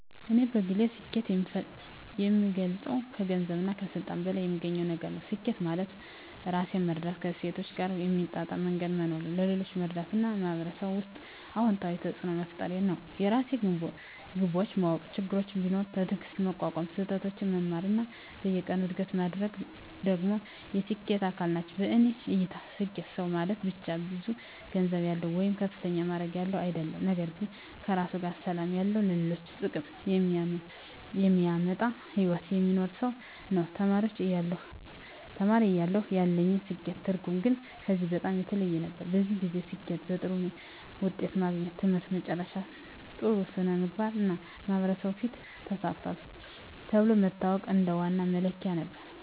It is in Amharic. እኔ በግል ስኬትን የምገልጸው ከገንዘብና ከስልጣን በላይ የሚገኝ ነገር ነው። ስኬት ማለት ራሴን መረዳት፣ ከእሴቶቼ ጋር በሚጣጣም መንገድ መኖር፣ ሌሎችን መርዳት እና በማህበረሰብ ውስጥ አዎንታዊ ተፅዕኖ መፍጠር ነው። የራሴን ግቦች ማወቅ፣ ችግሮችን ቢኖሩም በትዕግስት መቋቋም፣ ከስህተቶቼ መማር እና በየቀኑ እድገት ማድረግ ደግሞ የስኬት አካል ናቸው። በእኔ እይታ ስኬታማ ሰው ማለት ብቻ ብዙ ገንዘብ ያለው ወይም ከፍተኛ ማዕረግ ያለው አይደለም፤ ነገር ግን ከራሱ ጋር ሰላም ያለው፣ ለሌሎች ጥቅም የሚያመጣ ሕይወት የሚኖር ሰው ነው። ተማሪ እያለሁ ያለኝ የስኬት ትርጉም ግን ከዚህ በጣም የተለየ ነበር። በዚያን ጊዜ ስኬትን በጥሩ ውጤት ማግኘት፣ ትምህርት መጨረስ፣ ጥሩ ሥራ ማግኘት እና በማህበረሰብ ፊት “ተሳክቷል” ተብሎ መታወቅ እንደ ዋና መለኪያ ነበር።